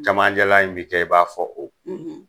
Kamancɛla in bi kɛ i b'a fɔ o